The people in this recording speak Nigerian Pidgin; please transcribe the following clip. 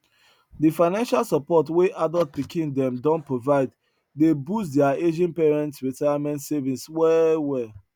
de financial support wey adult pikin dem don provide dey boost their aging parents retirement savings well well